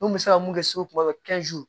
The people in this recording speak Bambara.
N kun bɛ se ka mun kɛ segu kuma fɛ